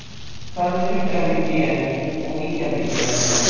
hvað er ríkjandi gen og víkjandi gen